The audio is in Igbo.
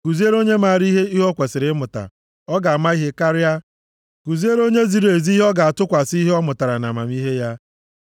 Kuziere onye maara ihe ihe o kwesiri ịmụta, ọ ga-ama ihe karịa, kuziere onye ziri ezi ihe ọ ga-atụkwasị ihe ọ mụtara nʼamamihe ya.